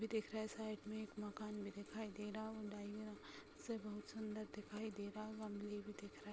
भी दिख रहा है। साइड में एक मकान भी दिखाई दे रहा और से बहुत सुंदर दिखाई दे रहा। गमले भी दिख रहे --